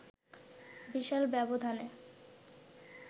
বিশাল ব্যবধানে